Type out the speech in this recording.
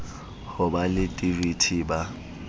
ho ba le dvt ba